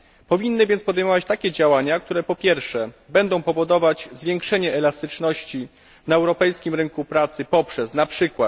Powinny więc podejmować takie działania, które po pierwsze, będą powodować zwiększenie elastyczności na europejskim rynku pracy poprzez np.